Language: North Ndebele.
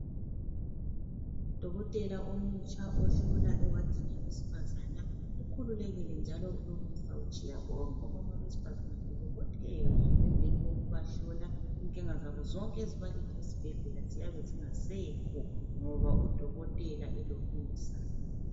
Udokotela omutsha ohlola ewadini yabesifazana ukhululekile njalo ulomusa utshiya bonke omama besifazane bebobotheka emveni kokubahlola inkinga zabo zonke ezibalinde esibhedlela ziyabe zingasekho ngoba udokotela elomusa.